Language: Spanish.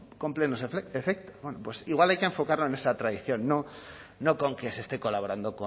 con plenos efectos bueno pues igual hay que enfocarlo en esa tradición no con que se esté colaborando